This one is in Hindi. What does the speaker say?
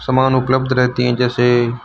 सामान उपलब्ध रहती हैं जैसे--